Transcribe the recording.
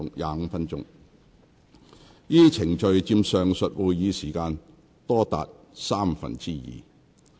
該等程序佔上述會議時間多達三分之二。